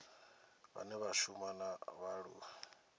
vhane vha shuma na vhaaluwa